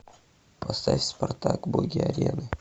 поставь спартак боги арены